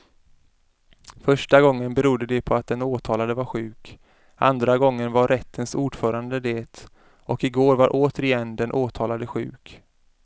Första gången berodde det på att den åtalade var sjuk, andra gången var rättens ordförande det och igår var återigen den åtalade sjuk.